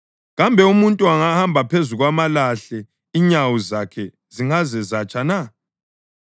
Kambe umuntu angahamba phezu kwamalahle inyawo zakhe zingaze zatsha na?